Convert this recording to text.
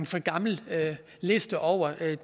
for gammel liste over